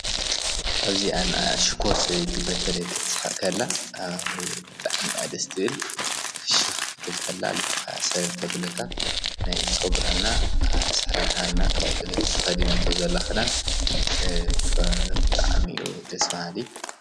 ኣብዚኣን ኣሽኰር ሰበቲ በተለይክትሓኸላ ኣብጻዕሚያ ድስትብል ፍሽኽ ትልቀላ ልብኸይ ሰለልተ ብልካ ናይ ፆጕራና ኣሠራርሓና ካውኡለለት ተኸዲናተዉዘላኽዳን ፍብጥዕሚኡ ድስዋሃሊ።